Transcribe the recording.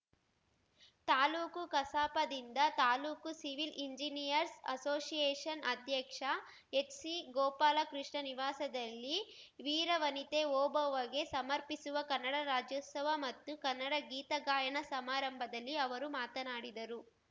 ತಾಲೂಕು ಕಸಾಪದಿಂದ ತಾಲೂಕು civil engineers association ಅಧ್ಯಕ್ಷ ಎಚ್‌ಸಿಗೋಪಾಲಕೃಷ್ಣ ನಿವಾಸದಲ್ಲಿ ವೀರವನಿತೆ ಓಬವ್ವಗೆ ಸಮರ್ಪಿಸುವ ಕನ್ನಡ ರಾಜ್ಯೋತ್ಸವ ಮತ್ತು ಕನ್ನಡ ಗೀತ ಗಾಯನ ಸಮಾರಂಭದಲ್ಲಿ ಅವರು ಮಾತನಾಡಿದರು